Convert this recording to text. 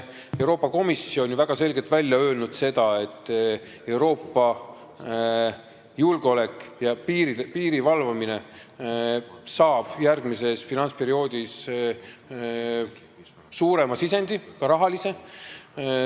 Euroopa Komisjon on ju ka väga selgelt välja öelnud seda, et Euroopa julgeolek ja piiri valvamine saab järgmises finantsperioodis suurema sisendi, ka rahalise.